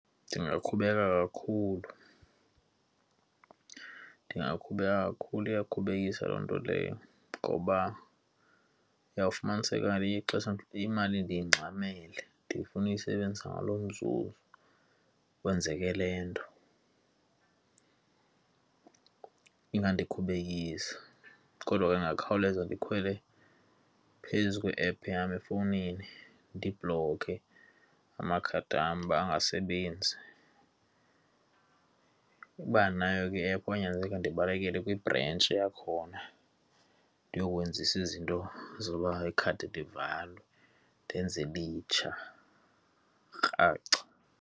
Ndingakhubeka kakhulu, ndingaqhubeka kakhulu. Iyakhubekisa loo nto leyo ngoba uyawufumaniseka ngeliye ixesha imali ndiyingxamele, ndifuna ukuyisebenzisa ngalo mzuzu kwenzeke le nto. Ingandikhubekisa kodwa ke ndingakhawuleza ndikhwele phezu kwe-app yam efowunini, ndibhloke amakhadi wam uba angasebenzi. Uba andinayo ke i-app kwawunyanzeleka ndibalekele kwibhrentshi yakhona, ndiyokwenzisa izinto zoba ikhadi livalwe ndenze elitsha kraca.